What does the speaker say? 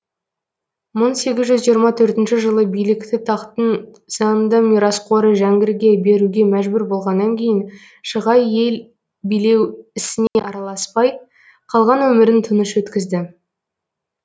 мыңсегіз жүз жиырма төртінші жылы билікті тақтың заңды мирасқоры жәңгірге беруге мәжбүр болғаннан кейін шығай ел билеу ісіне араласпай қалған өмірін тыныш өткізді